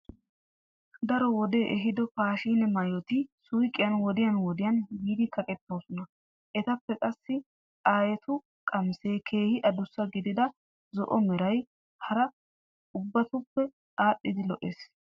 Daro wodee ehiido paashine maayoti suuqiyan wodiyan wodiyan yiidi kaqettoosona. Etappe qassi aayetu qamisee keehi adussa gidida zo'o meray hara ubbatuppe aadhdhidi lo'ees.